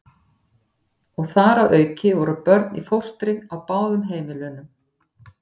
Og þar að auki voru börn í fóstri á báðum heimilunum.